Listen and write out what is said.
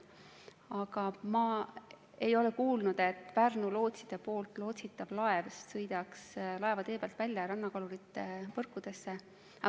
Aga ma ei ole kuulnud, et Pärnu lootside lootsitav laev sõidaks laevatee pealt välja ja rannakalurite võrkudesse.